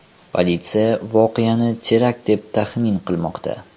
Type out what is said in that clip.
Politsiya voqeani terakt deb taxmin qilmoqda .